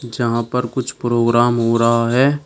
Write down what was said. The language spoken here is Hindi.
जहां पर कुछ प्रोग्राम हो रहा है।